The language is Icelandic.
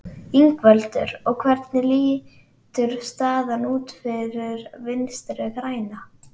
Ingveldur: Og hvernig lítur staðan út fyrir Vinstri-græna?